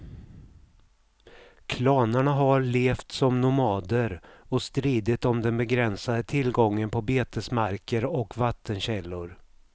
Klanerna har levt som nomader och stridit om den begränsade tillgången på betesmarker och vattenkällor.